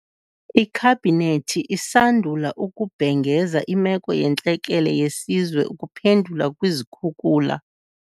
Ikhabhinethi isandula ukubhengeza Imeko yeNtlekele yeSizwe ukuphendula kwizikhukula.